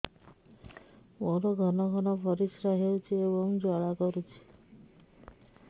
ମୋର ଘନ ଘନ ପରିଶ୍ରା ହେଉଛି ଏବଂ ଜ୍ୱାଳା କରୁଛି